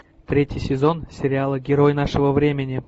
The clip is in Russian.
третий сезон сериала герой нашего времени